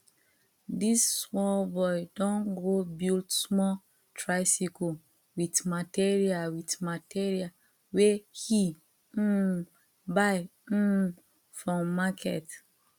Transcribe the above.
this small boy don go build small tricycle with material with material wey he um buy um from market